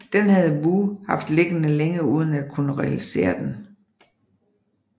Den havde Woo haft liggende længe uden at kunne realisere den